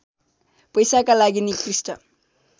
पैसाका लागि निकृष्ट